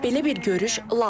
Belə bir görüş lazımdır.